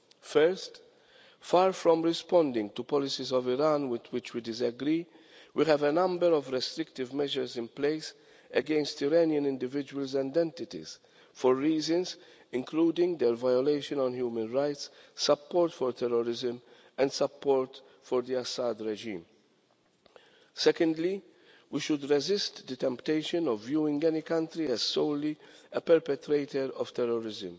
First, far from responding to policies of Iran with which we disagree, we have a number of restrictive measures in place against Iranian individuals and entities for reasons including their violation of human rights, support for terrorism and support for the Assad regime. Secondly, we should resist the temptation of viewing any country as solely a perpetrator of terrorism.